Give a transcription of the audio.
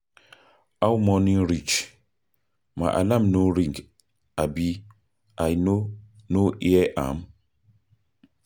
How morning reach? My alarm no ring abi I no no hear am?